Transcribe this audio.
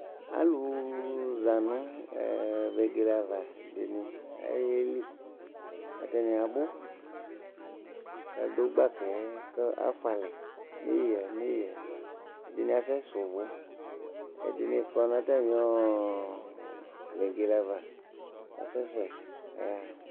alò la no ɛ vegele ava ɛdini ayeli atani abò k'adu gbaka yɛ k'afua alɛ n'eya n'eya ɛdini asɛ sɛ uvò ɛdini kɔ n'atami ɔ vegele ava k'asɛ sɛ k'aya ɣa